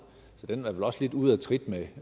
så den er vel også lidt ude af trit med